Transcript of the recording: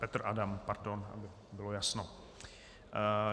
Petr Adam, pardon, aby bylo jasno.